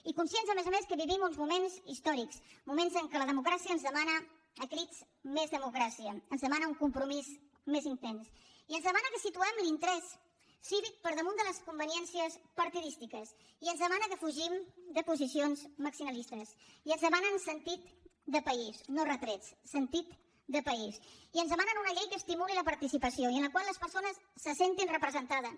i conscients a més a més que vivim uns moments històrics moments en què la democràcia ens demana a crits més democràcia ens demana un compromís més intens i ens demana que situem l’interès cívic per damunt de les conveniències partidistes i ens demana que fugim de posicions maximalistes i ens demanen sentit de país no retrets sentit de país i ens demanen una llei que estimuli la participació i en la qual les persones se sentin representades